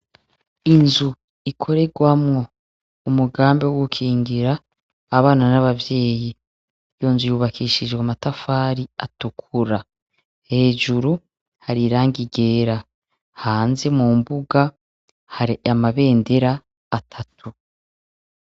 Inzu ikorerwamwo umugambi wo gukingira abana n'abavyeyi. Iyo nzu yubakishijwe amatafari atukura, hejuru hari irangi ryera, hanze mu mbuga hari amabendera atatu.